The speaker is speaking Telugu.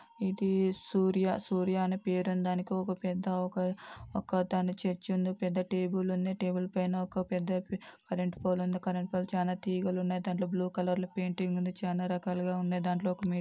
ఇది సూర్య-సూర్య అనే పేరుంది దానికి ఒక పెద్ద ఒక ఒక దాని చర్చి ఉంది పెద్ద టేబుల్ ఉంది టేబుల్ పైన ఒక పెద్ద పే కరెంటు పోల్ ఉంది కరెంటు పోల్ చానా తీగలున్నాయ్ దాన్లో బ్లూ కలర్ పెయింటింగ్ ఉంది చానా రకాలుగా ఉన్నాయ్ దాన్లో--